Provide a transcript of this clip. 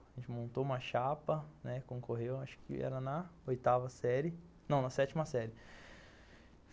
A gente montou uma chapa, né, concorreu, acho que era na oitava série, não, na sétima série.